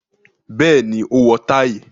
Bẹ́ẹ̀ni, ó wọ táì.